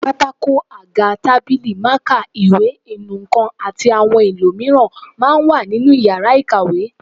Pátákó, àga, tábìlì, mákà, ìwé, inú nǹkan àti àwọn ohun èlò mìíràn máa ń wà nínú yàrá ìkàwé